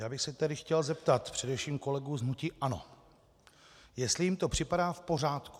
Já bych se tedy chtěl zeptat především kolegů z hnutí ANO, jestli jim to připadá v pořádku.